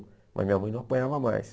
Mas minha mãe não apanhava mais.